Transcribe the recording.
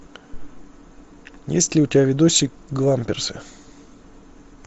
есть ли у тебя видосик гламберсы